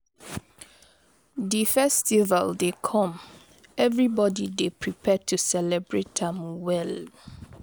Di festival dey come, everybody dey prepare to celebrate am well.